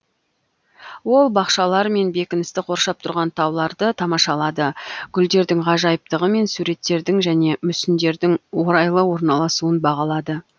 ол бақшалар мен бекіністі қоршап тұрған тауларды тамашалады гүлдердің ғажайыптығы мен суреттердің және мүсіндердің орайлы орналасуын бағалады